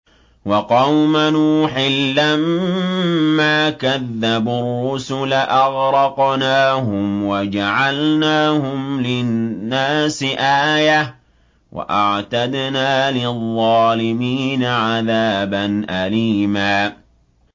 وَقَوْمَ نُوحٍ لَّمَّا كَذَّبُوا الرُّسُلَ أَغْرَقْنَاهُمْ وَجَعَلْنَاهُمْ لِلنَّاسِ آيَةً ۖ وَأَعْتَدْنَا لِلظَّالِمِينَ عَذَابًا أَلِيمًا